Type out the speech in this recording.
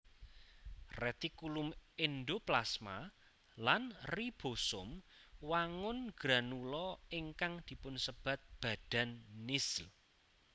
Retikulum endoplasma lan ribosom wangun granula ingkang dipunsebat badan nissl